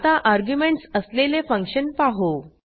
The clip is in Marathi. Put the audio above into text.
आता अर्ग्युमेंटस असलेले फंक्शन पाहू